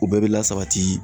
U bɛɛ be lasabati.